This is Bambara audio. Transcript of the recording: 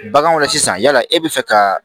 Baganw la sisan yala e bɛ fɛ ka